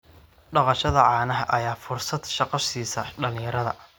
Dhaqashada caanaha ayaa fursad shaqo siisa dhalinyarada.